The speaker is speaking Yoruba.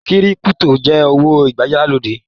Kírípútò jẹ owó ìgbàlódé.